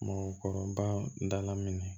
Mɔgɔkɔrɔba dala minɛ